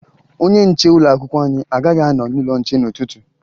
Onye nche ụlọakwụkwọ anyị agaghị anọ n'ụlọnche n'ụtụtụ